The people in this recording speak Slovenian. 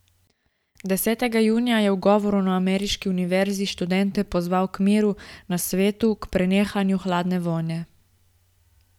Desetega junija je v govoru na ameriški univerzi študente pozival k miru na svetu, k prenehanju hladne vojne.